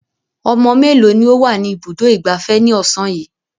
Ọmọ mélòó ni ó wà ní Ibùdó-ìgbafẹ́ ní ọ̀sán yìí?